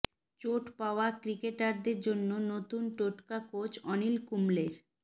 চোট পাওয়া ক্রিকেটারদের জন্য নতুন টোটকা কোচ অনিল কুম্বলের